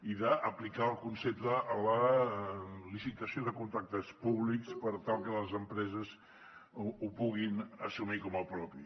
i d’aplicar el concepte a la licitació de contractes públics per tal que les empreses ho puguin assumir com a propi